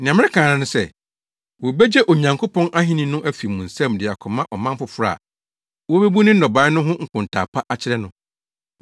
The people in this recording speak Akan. “Nea mereka ara ne sɛ, wobegye Onyankopɔn Ahenni no afi mo nsam de akɔma ɔman foforo a wobebu ne nnɔbae no ho nkontaa pa akyerɛ no.